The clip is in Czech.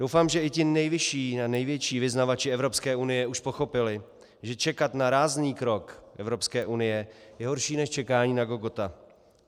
Doufám, že i ti nejvyšší a největší vyznavači Evropské unie už pochopili, že čekat na rázný krok Evropské unie je horší než čekání na Godota.